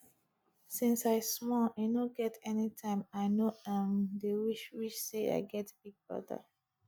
since i small e no get anytime i no um dey wish wish say i get big brother